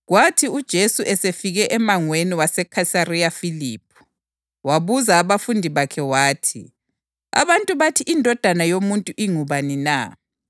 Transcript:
Baphendula bathi, “Abanye bathi nguJohane uMbhaphathizi; abanye bathi ngu-Elija; abanye njalo bathi nguJeremiya loba omunye nje wabaphrofethi.”